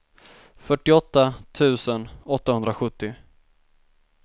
fyrtioåtta tusen åttahundrasjuttio